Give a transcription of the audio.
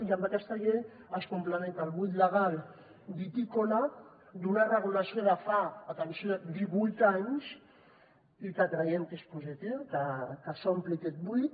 i amb aquesta llei es complementa el buit legal vitícola d’una regulació de fa atenció divuit anys i que creiem que és positiu que s’ompli aquest buit